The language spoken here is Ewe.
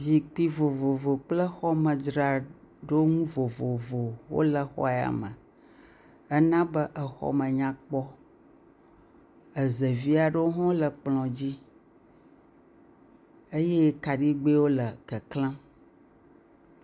Zikpui vovovo kple xɔmedzraɖonu vovovo wole xɔ ya me, ena be exɔ me nyakpɔ, ezevi aɖewo hã wole kplɔa dzi, eye kaɖigbɛwo le keklem,